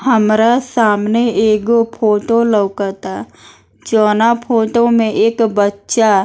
हमरा सामने एगो फोटो लउकता जउना फोटो में एक बच्चा --